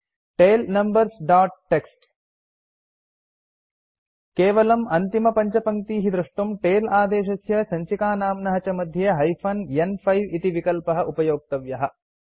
tail numbers dot TXT केवलम् अन्तिमपञ्चपङ्क्तीः द्रष्टुम् टेल आदेशस्य सञ्चिकानाम्न च मध्ये हाइफेन न्5 इति विकल्पः उपयोक्तव्यः